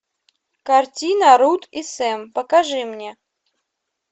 картина руд и сэм покажи мне